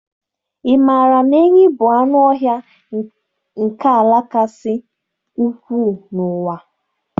Ị maara na enyí bụ anụ ọhịa nke ala kasị ukwuu n'ụwa?.